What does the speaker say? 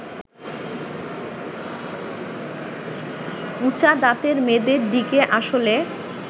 উঁচা দাঁতের মেয়েদের দিকে আসলে